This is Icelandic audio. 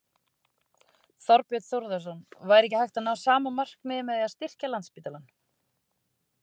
Þorbjörn Þórðarson: Væri ekki hægt að ná sama markmiði með því að styrkja Landspítalann?